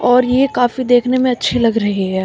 और ये काफी देखने में अच्छी लग रही है।